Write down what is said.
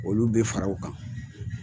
Olu bɛ fara o kan.